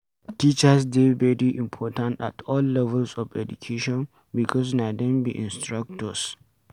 Teachers dey very important at all levels of education because na dem be instructors